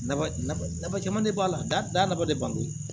Nafaba caman de b'a la danfa de ba do